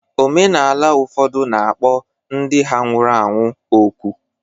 Omenala ụfọdụ na-akpọ ndị ha nwụrụ anwụ ọkụ